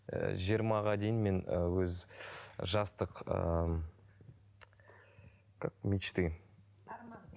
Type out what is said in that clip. ыыы жиырмаға дейін мен ыыы өз жастық ыыы как мечты деген арман